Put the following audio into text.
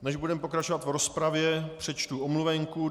Než budeme pokračovat v rozpravě, přečtu omluvenku.